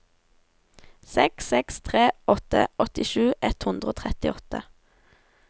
seks seks tre åtte åttisju ett hundre og trettiåtte